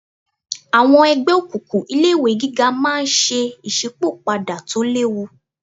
Àwọn ẹgbẹ́ òkùnkùn ilé ìwé gíga máa ń ṣe ìsípò padà tó léwu